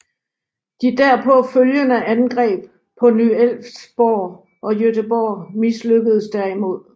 De derpå følgende angreb på Ny Elfsborg og Göteborg mislykkedes derimod